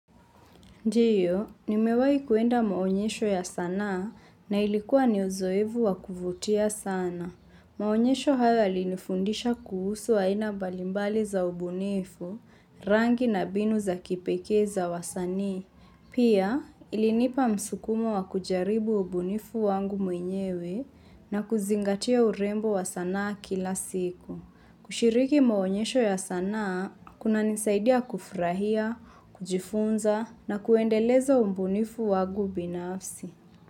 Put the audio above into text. Ndiyo, nimewai kuenda maonyesho ya sanaa na ilikuwa ni uzoevu wakuvutia sana. Maonyesho hayo yalinifundisha kuhusu aina mbali mbali za ubunifu, rangi na mbinu za kipekee za wasani. Pia, ilinipa msukumo wakujaribu ubunifu wangu mwenyewe na kuzingatia urembo wa sanaa kila siku. Kushiriki maonyesho ya sanaa, kunanisaidia kufurahia, kujifunza na kuendelezo ubunifu wangu binafsi.